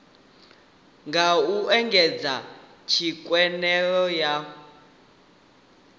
nga u engedza tswikelelo ya